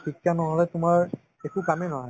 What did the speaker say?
শিক্ষা নহ'লে তোমাৰ একো কামই নহয়